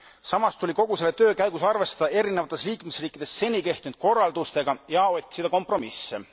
Samas tuli kogu selle töö käigus arvestada erinevates liikmesriikides seni kehtinud korraldustega ja otsida kompromisse.